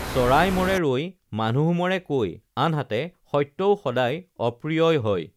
চৰাই মৰে ৰৈ মানুহ মৰে কৈ আনহাতে সত্যও সদায় অপ্ৰিয়ই হয়